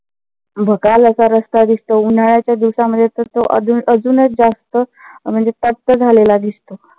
भकाल असा रस्ता दिसतो. उन्हाळ्याच्या दिवसामध्ये तर तो अजून अजूनच जास्त म्हणजे झालेला दिसतो.